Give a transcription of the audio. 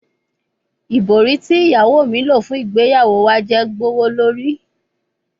Ibori ti iyawo mi lo fun igbeyawo wa jẹ gbowolori